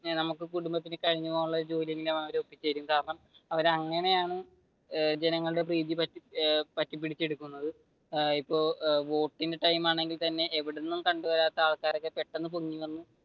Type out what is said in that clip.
നമുക്ക് കുടുംബത്തിന് കഴിഞ്ഞു പോകാനുള്ള ഒരു ജോലി അവർ ഒപ്പിച്ചു തരും കാരണം അവർ അങ്ങനെയാണ് ജനങ്ങളുടെ പ്രീതി പറ്റി പിടിച്ചെടുക്കുന്നത് ഇപ്പൊ വോട്ടിന്റെ ടൈം ആണെങ്കിൽ തന്നെ എവിടെന്നും കണ്ടു വരാത്ത ആൾക്കാർ പെട്ടെന്ന് പൊങ്ങി വന്നു